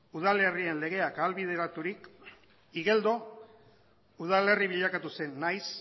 udalerrien legeak ahalbideraturik igeldo udalerri bilakatu zen nahiz